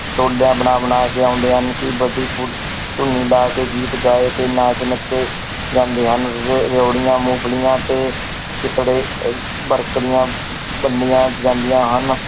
ਟੋਲਿਆਂ ਬਣਾ ਬਣਾ ਕੇ ਆਉਂਦੇ ਹਨ ਕਿ ਧੂਣੀ ਲਾ ਕੇ ਗੀਤ ਗਾਏ ਤੇ ਨਾਚ ਨੱਚੇ ਜਾਂਦੇ ਹਨ ਰ~ ਰਿਓੜੀਆਂ, ਮੂੰਫ਼ਲੀਆਂ ਤੇ ਅਹ ਵੰਡੀਆਂ ਜਾਂਦੀਆਂ ਹਨ।